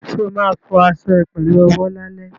Ṣo ma fọ aṣọ ẹ pẹ̀lú owó lálẹ́?